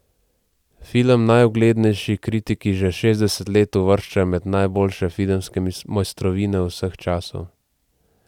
Film najuglednejši kritiki že šestdeset let uvrščajo med najboljše filmske mojstrovine vseh časov.